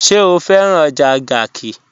Ṣẹ̀ o fẹ̀ràn ọjà Garki?